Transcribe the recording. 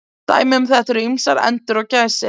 Dæmi um þetta eru ýmsar endur og gæsir.